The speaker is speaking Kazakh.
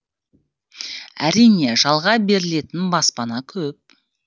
әрине жалға берілетін баспана көп